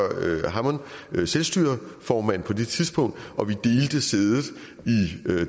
hammond var selvstyreformand på det tidspunkt og vi delte sædet i